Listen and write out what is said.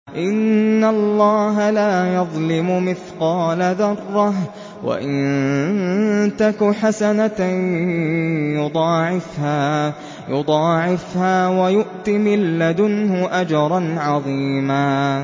إِنَّ اللَّهَ لَا يَظْلِمُ مِثْقَالَ ذَرَّةٍ ۖ وَإِن تَكُ حَسَنَةً يُضَاعِفْهَا وَيُؤْتِ مِن لَّدُنْهُ أَجْرًا عَظِيمًا